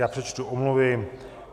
Já přečtu omluvy.